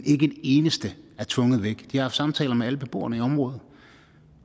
ikke en eneste er tvunget væk man har haft samtaler med alle beboerne i området